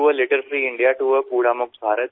to a litter free India टो आ कूड़ा मुक्त भारत